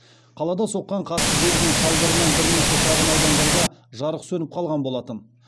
қалада соққан қатты желдің салдарынан бірнеше шағын аудандарда жарық сөніп қалған болатын